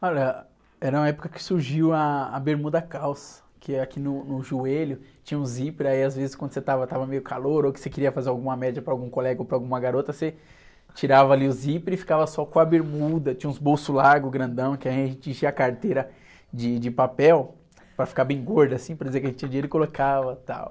Olha, era uma época que surgiu ah, a bermuda calça, que aqui no, no joelho tinha um zíper, aí às vezes quando você estava, estava meio calor ou que você queria fazer alguma média para algum colega ou para alguma garota, você tirava ali o zíper e ficava só com a bermuda, tinha uns bolsos largos, grandão, que a gente enchia a carteira de, de papel para ficar bem gordo assim, para dizer que a gente tinha dinheiro e colocava e tal.